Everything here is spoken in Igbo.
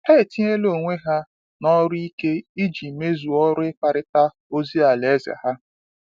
Ha etinyela onwe ha n’ọrụ ike iji mezuo ọrụ ịkparịta ozi Alaeze ha.